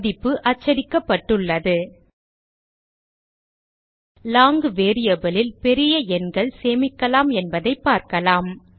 மதிப்பு அச்சடிக்கபபட்டுள்ளது long variable லில் பெரிய எண்கள் சேமிக்கலாம் என்பதை பார்க்கலாம்